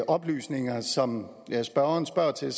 oplysninger som spørgeren spørger til